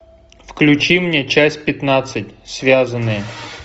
включи мне часть пятнадцать связанные